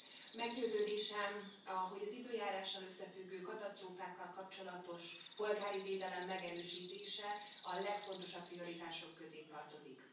Elnök Asszony! Meggyőződésem, hogy az időjárással összefüggő katasztrófákkal kapcsolatos polgári védelem megerősítése a legfontosabb prioritások közé tartozik.